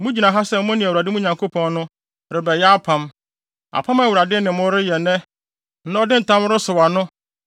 Mugyina ha sɛ mo ne Awurade, mo Nyankopɔn no, rebɛyɛ apam; apam a Awurade ne mo reyɛ nnɛ na ɔde ntam resɔw ano